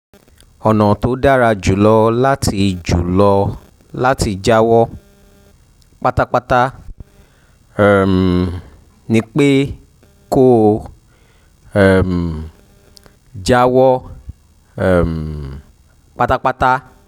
ọ̀nà tó dára jù lọ láti jù lọ láti jáwọ́ pátápátá um ni pé kó o um jáwọ́ um pátápátá